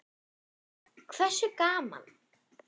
Hversu gaman??